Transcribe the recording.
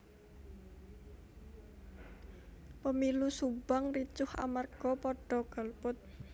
Pemilu Subang ricuh amarga podo golput